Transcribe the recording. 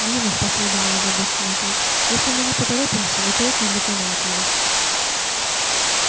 вижу последовал озабоченный ответ если мы не поторопимся эта окись доконает его